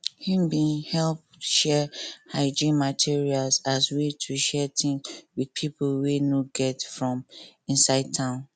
him bin help share hygiene materials as way to share things with pipo wey no get for inside town